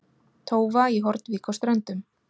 Tófa í Hornvík á Ströndum.